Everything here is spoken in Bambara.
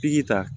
Piki ta